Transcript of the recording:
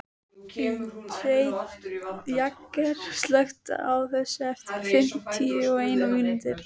Jagger, slökktu á þessu eftir fimmtíu og eina mínútur.